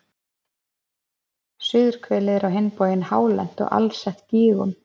Suðurhvelið er á hinn bóginn hálent og alsett gígum.